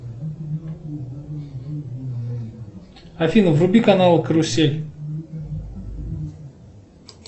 афина вруби канал карусель